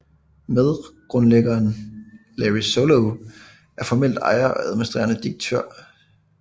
Medgrundlæggeren Larry Solov er formelt ejer og administrerende direktør